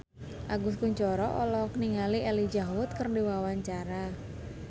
Agus Kuncoro olohok ningali Elijah Wood keur diwawancara